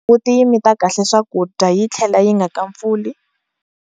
Mbuti yi mita kahle swakudya yi tlhela yi nga kampfuli?